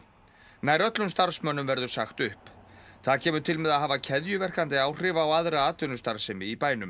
nær öllum starfsmönnum verður sagt upp það kemur til með að hafa keðjuverkandi áhrif á aðra atvinnustarfsemi í bænum